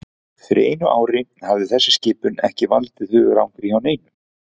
Fyrir einu ári hefði þessi skipun ekki valdið hugarangri hjá neinum.